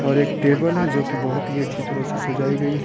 और एक टेबल है जो कि बहुत ही अच्छी तरह से सजाई गई है।